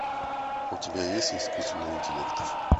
у тебя есть искусственный интеллект